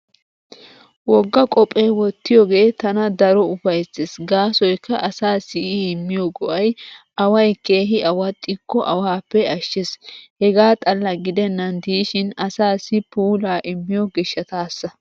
Wogga qophee wottiyogee tana daro ufayssees gaasoykka asaassi I immiyo go'ay away keehi awaxxikko awaappe ashshees. Hegaa xalla gidennan diishin asaassi puulaa immiyo gishshataassa.